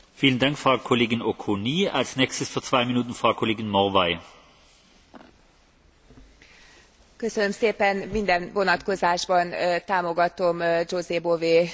Minden vonatkozásban támogatom José Bové úrnak azt a kiváló jelentését, amelyben végre tisztességes, méltányos jövedelmet követel